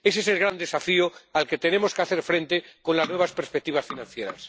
Ese es el gran desafío al que tenemos que hacer frente con las nuevas perspectivas financieras.